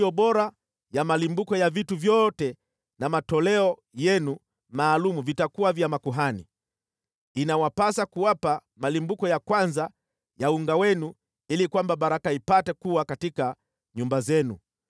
Yote yaliyo bora ya malimbuko ya vitu vyote na matoleo yenu maalum vitakuwa vya makuhani. Inawapasa kuwapa malimbuko ya kwanza ya unga wenu ili kwamba baraka ipate kuwa katika nyumba zenu.